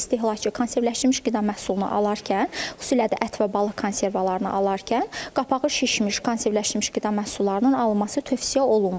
İstehlakçı konservləşmiş qida məhsulunu alarkən, xüsusilə də ət və balıq konservalarını alarkən, qapağı şişmiş konservləşmiş qida məhsullarının alınması tövsiyə olunmur.